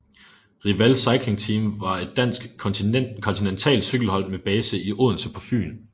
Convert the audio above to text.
Riwal Cycling Team var et dansk kontinentalcykelhold med base i Odense på Fyn